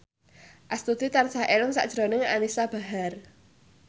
Astuti tansah eling sakjroning Anisa Bahar